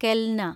കെൽന